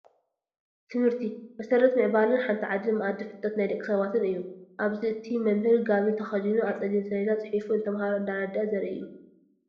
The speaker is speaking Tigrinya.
ትምርቲ፡- መሰረት ምዕባለን ሓንቲ ዓድን ማኣዲ ፍልጠት ናይ ደቂ ሰባትን እዩ፡፡ ኣብዚ እቲ መ/ር ጋቦን ተኸዲኑ ኣብ ፀሊም ሰሌደ ፅሒፉ ንተምሃሮ እንዳረደአ ዘርኢ እዩ፡፡